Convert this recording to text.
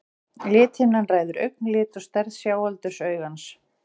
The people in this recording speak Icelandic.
Lithimnan ræður augnlit og stærð sjáaldurs augans.